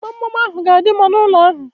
Gbamgbam ahu ga-adị mma n'ụlọ ahu